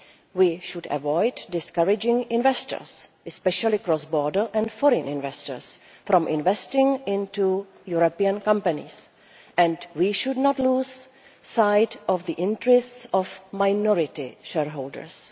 We should avoid discouraging investors, especially cross border and foreign investors, from investing in European companies, and we should not lose sight of the interests of minority shareholders.